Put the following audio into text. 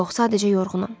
Yox, sadəcə yorğunam.